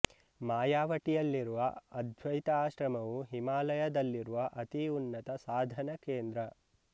ಮಾಯವಟಿಯಲ್ಲಿರುವ ಅದ್ವೈತ ಆಶ್ರಮವು ಹಿಮಾಲಯದಲ್ಲಿರುವ ಅತಿ ಉನ್ನತ ಸಾಧನಾ ಕೇಂದ್ರ